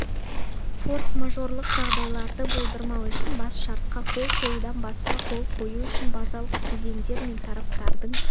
форс-мажорлық жағдайларды болдырмау үшін бас шартқа қол қоюдан басқа қол қою үшін базалық кезеңдер мен тараптардың